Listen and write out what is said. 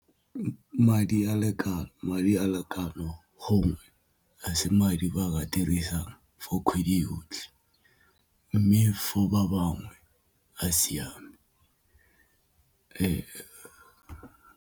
Madi a lekano gongwe a se madi ba ka dirisang for kgwedi yotlhe mme for ba bangwe a siame .